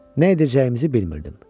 Neyləyəcəyimizi bilmirdim.